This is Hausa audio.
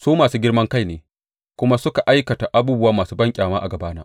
Su masu girman kai ne kuma suka aikata abubuwa masu banƙyama a gabana.